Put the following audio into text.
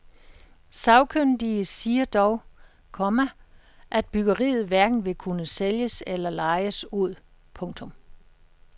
Sagkyndige siger dog, komma at byggeriet hverken vil kunne sælges eller lejes ud. punktum